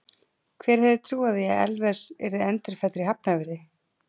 Hver hefði trúað því að Elvis yrði endurfæddur í Hafnarfirði?